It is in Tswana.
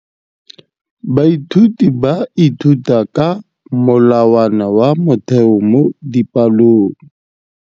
Baithuti ba ithuta ka molawana wa motheo mo dipalong.